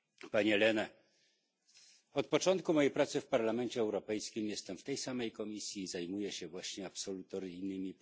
Panie Lehne! Od początku mojej pracy w Parlamencie Europejskim jestem w tej samej komisji i zajmuję się właśnie procesami absolutoryjnymi.